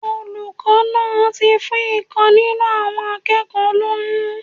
Olùkó náà ti fún ìkan nínú àwọn akékòó lóyún